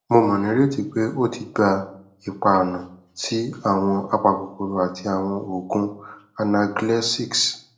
mo mo nireti pe o ti gba ipaọna ti awọn apakokoro ati awọn oogun analgesics